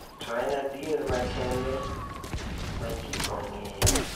To en adier ma kende ma ji ong'eyo.